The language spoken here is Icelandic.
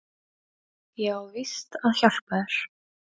Ég á víst að hjálpa þér.